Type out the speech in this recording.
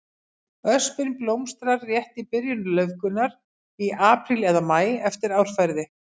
Öspin blómstrar rétt í byrjun laufgunar, í apríl eða maí eftir árferði.